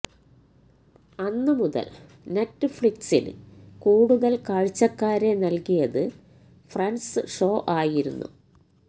അന്നുമുതല് നെറ്റ്ഫ്ലിക്സിന് കൂടുതല് കാഴ്ചക്കാരെ നല്കിയത് ഫ്രണ്ട്സ് ഷോ ആയിരുന്നു